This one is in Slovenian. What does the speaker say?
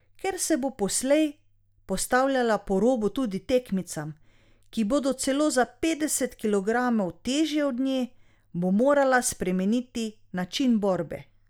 Ker se bo poslej postavljala po robu tudi tekmicam, ki bodo celo za petdeset kilogramov težje od nje, bo morala spremeniti način borbe.